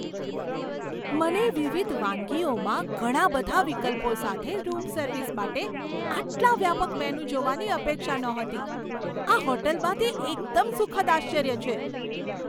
મને વિવિધ વાનગીઓમાં ઘણા બધા વિકલ્પો સાથે રૂમ સર્વિસ માટે આટલા વ્યાપક મેનૂ જોવાની અપેક્ષા નહોતી. આ હોટલમાં તે એકદમ સુખદ આશ્ચર્ય છે!